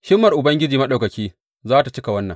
Himmar Ubangiji Maɗaukaki za tă cika wannan.